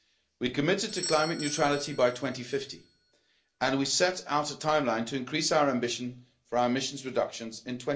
We have committed to climate neutrality by 2050, and we set out a timeline to increase our ambition for our emissions reductions in